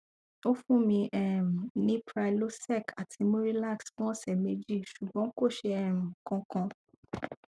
ó fún mi um ní prylosec àti murilax fún ọsẹ méjì ṣùgbọn kò ṣe um kankan